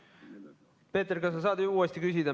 Peeter, kas sa saad uuesti küsida?